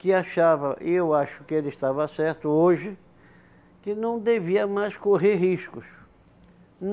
Que achava, eu acho que ele estava certo hoje, que não devia mais correr riscos.